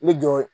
N bɛ jɔ